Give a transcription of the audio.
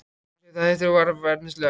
Hún segir þetta hægt og varfærnislega.